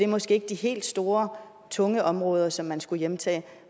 måske ikke de helt store tunge områder som man skulle hjemtage